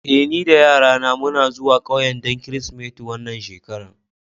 Eh, ni da yarana muna zuwa ƙauyen don Kirsimeti wannan shekara.